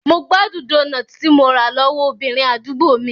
Mo gbádùn doughnut tí mo rà lọ́wọ́ obìnrin àdúgbò mi.